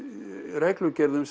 reglugerðum